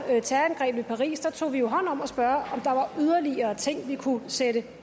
terrorangrebene i paris tog vi jo hånd om at spørge om er yderligere ting vi kunne sætte